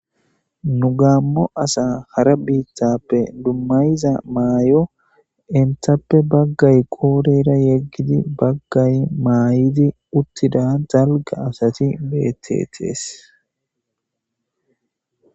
Gamo asa hara bittappe dumasiza mayo entappe Bagay qodhera yegid Bagay mayid utida dalga asat betetes